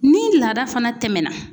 Ni laada fana tɛmɛna